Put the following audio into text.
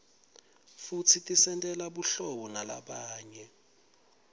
futsi tisentela buhlabo nalabanye